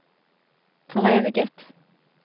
foreviget